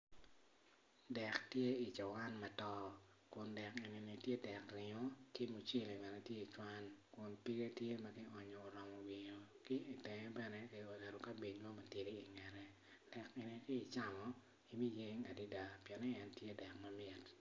Dek tye i cuwan macol dek eni kono tye dek ringo kun pige tye madwong adada ki i tenge tye kionyo kabej mo ma tidi i tenge.